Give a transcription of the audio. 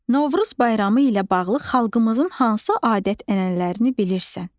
Novruz bayramı ilə bağlı xalqımızın hansı adət-ənənələrini bilirsən?